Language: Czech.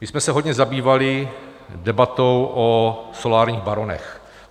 My jsme se hodně zabývali debatou o solárních baronech.